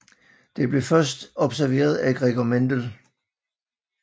Det blev først observeret af Gregor Mendel